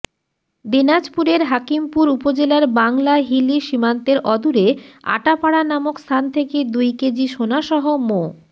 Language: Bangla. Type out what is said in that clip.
দিনাজপুরের হাকিমপুর উপজেলার বাংলা হিলি সীমান্তের অদূরে আটাপাড়া নামক স্থান থেকে দুই কেজি সোনাসহ মো